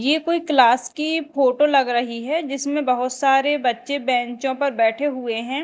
ये कोई क्लास की फोटो लग रही है जिसमें बहोत सारे बच्चे बेंचों पर बैठे हुए हैं।